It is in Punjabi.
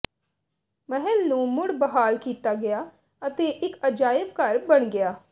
ਮਹਿਲ ਨੂੰ ਮੁੜ ਬਹਾਲ ਕੀਤਾ ਗਿਆ ਅਤੇ ਇਕ ਅਜਾਇਬ ਘਰ ਬਣ ਗਿਆ